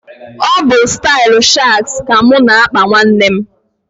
Ọ bụ, ya bụ stailu shags ka mụ na – akpa nwanne m